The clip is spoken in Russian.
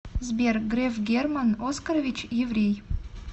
сбер греф герман оскарович еврей